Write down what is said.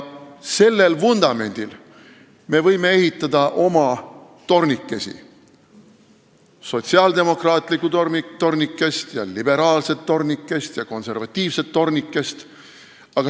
Sellel vundamendil me võime ehitada oma tornikesi – sotsiaaldemokraatlikku tornikest, liberaalset tornikest ja konservatiivset tornikest.